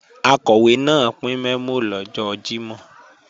Akọ̀wé náà pín mẹ́mò lọ́jọ́ Jímọ̀